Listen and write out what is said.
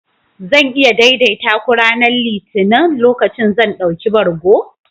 Zan iya daidaita ku ranar Litinin, lokacin da zan ɗauki bargo?